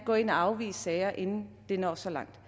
gå ind og afvise sager inden det når så langt